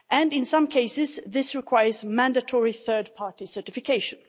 In some cases this requires mandatory third party certification.